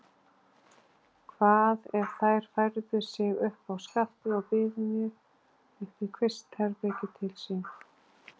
Hvað, ef þær færðu sig uppá skaftið og byðu mér uppí kvistherbergið til sín?